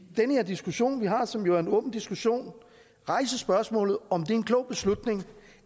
den her diskussion vi har som jo er en åben diskussion rejse spørgsmålet om det er en klog beslutning